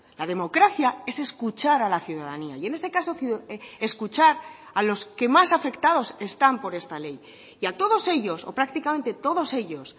la democracia es escuchar a la ciudadanía y en este caso escuchar a los que más afectados están por esta ley y a todos ellos o prácticamente todos ellos